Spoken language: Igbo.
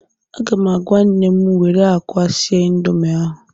Aga m agwa nnem were akwa sie Indomi ahụ